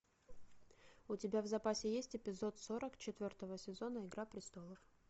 у тебя в запасе есть эпизод сорок четвертого сезона игра престолов